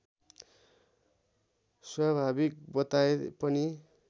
स्वाभाविक बताए पनि